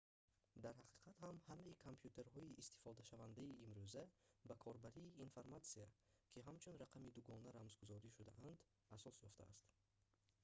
дар ҳақиқат ҳам ҳамаи компютерҳои истифодашавандаи имрӯза ба корбарии информатсия ки ҳамчун рақами дугона рамзгузорӣ шудаанд асос ёфтааст